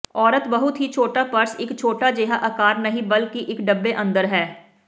ਔਰਤ ਬਹੁਤ ਹੀ ਛੋਟਾ ਪਰਸ ਇੱਕ ਛੋਟਾ ਜਿਹਾ ਆਕਾਰ ਨਹੀਂ ਬਲਕਿ ਇੱਕ ਡੱਬੇ ਅੰਦਰ ਹੈ